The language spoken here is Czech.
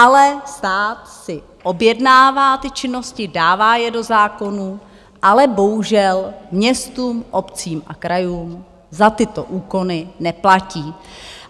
Ale stát si objednává ty činnosti, dává je do zákonů, ale bohužel městům, obcím a krajům za tyto úkony neplatí.